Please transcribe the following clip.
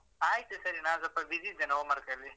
ಆಯ್ತು ಸರಿ ನಾನ್ ಸ್ವಲ್ಪ busy ಇದ್ದೇನೆ homework ಅಲ್ಲಿ.